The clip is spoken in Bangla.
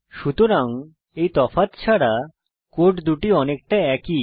সুতরাং এই তফাৎ ছাড়া কোড দুটি অনেকটা একই